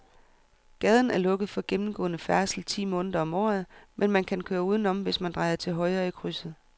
Gaden er lukket for gennemgående færdsel ti måneder om året, men man kan køre udenom, hvis man drejer til højre i krydset.